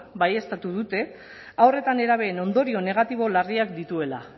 baieztatu dute haur eta nerabeen ondorio negatibo larriak dituela